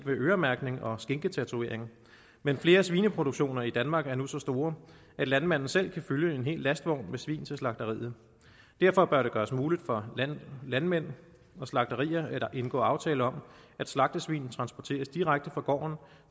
ved øremærkning og skinketatovering men flere svineproduktioner i danmark er nu så store at landmanden selv kan fylde en hel lastvogn med svin til slagteriet derfor bør det gøres muligt for landmænd og slagterier at indgå aftale om at slagtesvin transporteres direkte fra gården